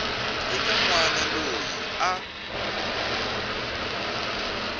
eka n wana loyi a